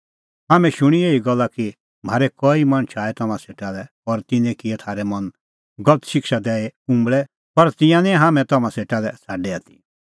हाम्हैं शूणीं एही गल्ला कि म्हारै कई मणछ आऐ तम्हां सेटा लै और तिन्नैं किऐ थारै मन गलत शिक्षा दैई उंबल़ै पर तिंयां निं हाम्हैं तम्हां सेटा लै छ़ाडै आथी